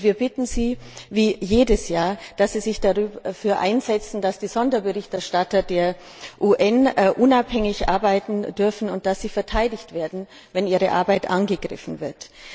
Wir bitten Sie wie jedes Jahr dass Sie sich dafür einsetzen, dass die Sonderberichterstatter der UN unabhängig arbeiten dürfen und dass sie verteidigt werden, wenn ihre Arbeit angegriffen wird.